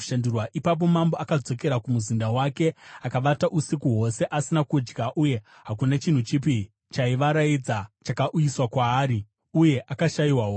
Ipapo mambo akadzokera kumuzinda wake akavata usiku hwose asina kudya uye hakuna chinhu chipi chaivaraidza chakauyiswa kwaari. Uye akashayiwa hope.